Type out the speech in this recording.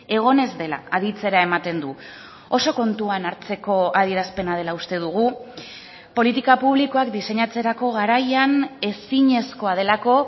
egon ez dela aditzera ematen du oso kontuan hartzeko adierazpena dela uste dugu politika publikoak diseinatzerako garaian ezinezkoa delako